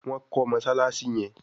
Wón kò Mossalassi yén.